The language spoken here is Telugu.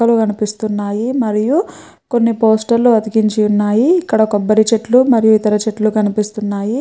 కనిపిస్తున్నాయి మరియు కొన్ని పోస్టర్లు అతికించి ఉన్నాయి. ఇక్కడ కొబ్బరి చెట్లు మరియు ఇతర చెట్లు కనిపిస్తున్నాయి.